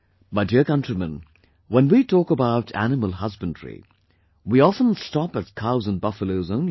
My dear countrymen, when we talk about animal husbandry, we often stop at cows and buffaloes only